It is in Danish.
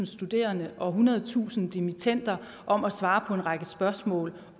studerende og ethundredetusind dimittender om at svare på en række spørgsmål